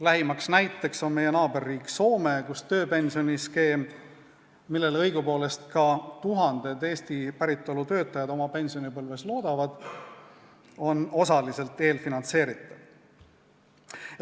Lähimaks näiteks on meie naaberriik Soome, kus tööpensioniskeem, millele õigupoolest loodavad oma pensionipõlves ka tuhanded Eesti päritolu töötajad, on osaliselt eelfinantseeritav.